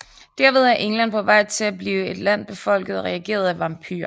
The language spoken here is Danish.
Derved er England på vej til at blive et land befolket og regeret af vampyrer